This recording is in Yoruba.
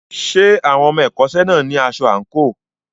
Ṣé àwọn ọmọ ẹ̀kọ́ṣẹ́ náà ní aṣọ àǹkóò?